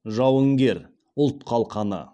жауынгер ұлт қалқаны